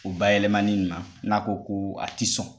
U bayɛlɛmani na n'a ko ko a tɛ sɔn